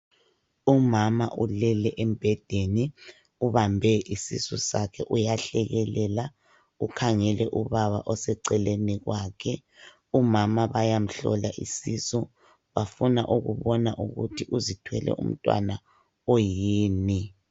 Umama ulele embhedeni, ubambe isisu sakhe uyahlekelela. Ukhangele oseceleni kwakhe .Umama bayamhlola isisu. Bafuna ukubona ukuthi ezithwele umntwana oyini.